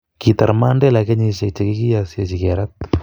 kitar Mandela kenyisiek chekikioisechi kerat